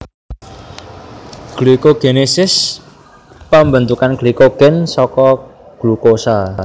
Glikogenesis pambentukan glikogen saka glukosa